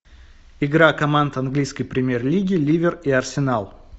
игра команд английской премьер лиги ливер и арсенал